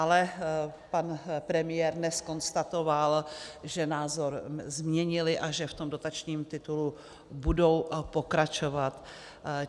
Ale pan premiér dnes konstatoval, že názor změnili a že v tom dotačním titulu budou pokračovat.